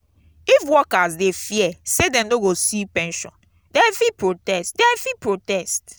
if workers dey fear say dem no go see pension dem fit protest dem fit protest